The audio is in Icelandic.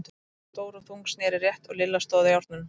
Kata, stór og þung, sneri rétt og Lilla stóð á járnunum.